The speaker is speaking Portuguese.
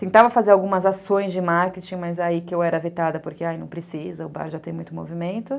Tentava fazer algumas ações de marketing, mas aí que eu era vetada porque, ah, não precisa, o bar já tem muito movimento.